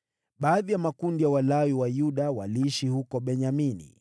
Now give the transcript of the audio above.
Baadhi ya makundi ya Walawi wa Yuda waliishi huko Benyamini.